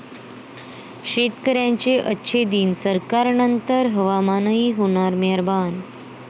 शेतकऱ्यांचे 'अच्छे दिन', सरकारनंतर हवामानही होणार मेहरबान